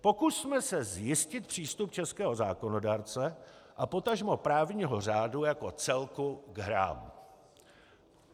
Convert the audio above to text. Pokusme se zjistit přístup českého zákonodárce a potažmo právního řádu jako celku k hrám.